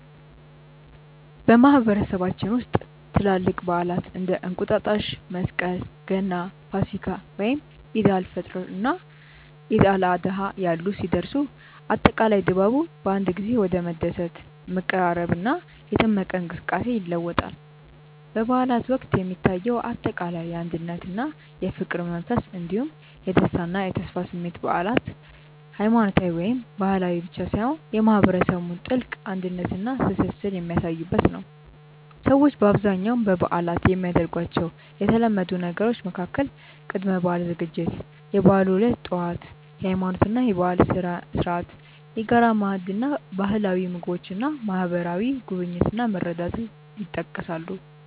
በማህበረሰባችን ውስጥ ትላልቅ በዓላት (እንደ እንቁጣጣሽ፣ መስቀል፣ ገና፣ ፋሲካ፣ ወይም ዒድ አል-ፈጥር እና ዒድ አል-አድሃ ያሉ) ሲደርሱ፣ አጠቃላይ ድባቡ በአንድ ጊዜ ወደ መደሰት፣ መቀራረብና የደመቀ እንቅስቃሴ ይለወጣል። በበዓላት ወቅት የሚታየው አጠቃላይ የአንድነትና የፍቅር መንፈስ እንዲሁም የደስታና የተስፋ ስሜት በዓላት ሃይማኖታዊ ወይም ባህላዊ ብቻ ሳይሆኑ የማህበረሰቡን ጥልቅ አንድነትና ትስስር የሚያሳዩበት ነው። ሰዎች በአብዛኛው በበዓላት የሚያደርጓቸው የተለመዱ ነገሮች መካከል ቅድመ-በዓል ዝግጅት፣ የበዓሉ ዕለት ጠዋት (የሃይማኖትና የባህል ስነ-ስርዓት)፣የጋራ ማዕድ እና ባህላዊ ምግቦች እና ማህበራዊ ጉብኝት እና መረዳዳት ይጠቀሳሉ።